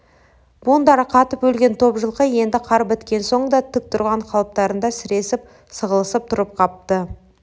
буындары қатып өлген топ жылқы енді қар кеткен соң да тік тұрған қалыптарында сіресіп сығылысып тұрып қапты